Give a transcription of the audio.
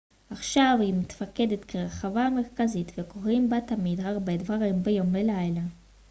עכשיו היא מתפקדת כרחבה המרכזית וקורים בה תמיד הרבה דברים ביום ובלילה